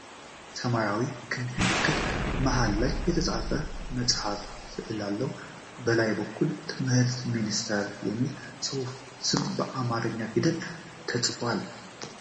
ሰማያዊ ክብ ምልክት መሃል ላይ የተከፈተ መጽሐፍ ስዕል አለው ። በላይ በኩል "የትምህርት ሚኒስቴር" የሚል የጽሑፍ ስም በአማርኛ ፊደል ተጽፏል።